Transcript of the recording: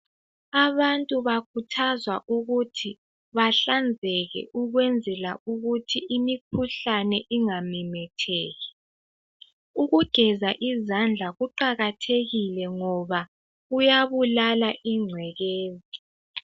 Abantu bakhuthazwa ukuthi bahlanzeke ukwenzela ukuthi imikhuhlane ingamemetheki. Ukugeza izandla kuqakathekile ngoba kuyabulala ingcekeza.